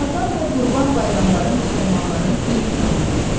Ramazan və Qurban bayramları müsəlmanların dini bayramıdır.